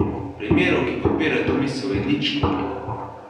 Primerov, ki podpirajo to misel, je ničkoliko.